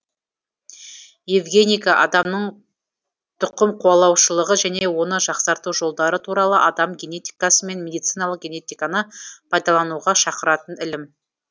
евгеника адамның түқымқуалаушылығы және оны жақсарту жолдары туралы адам генетикасы мен медициналық генетиканы пайдалануға шақыратын ілім